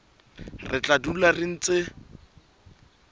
re tla dula re ntse